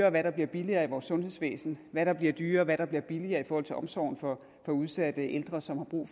og hvad der bliver billigere i vores sundhedsvæsen hvad der bliver dyrere og hvad der bliver billigere i forhold til omsorgen for udsatte ældre som har brug